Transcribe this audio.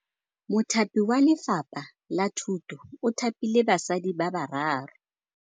Mothapi wa Lefapha la Thutô o thapile basadi ba ba raro.